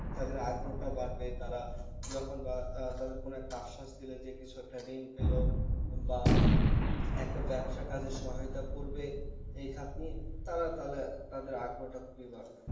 তাদের আগ্রহ টা বাড়বে তারা যখন বা তাদের কোনো একটা আশ্বাস দিলে যে কিছু একটা ঋণ পেলো বা একটা ব্যবসা কাজে সহায়তা করবে এই খাটনি তারা তাহলে তাদের আগ্রহটা খুবই বাড়বে